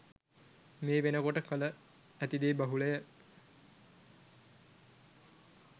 මේ වෙනකොට කල ඇතිදේ බහුලය.